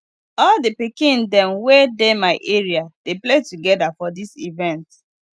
all di pikin dem wey dey my area dey play togeda for dis event